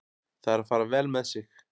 Það er að fara vel með sig.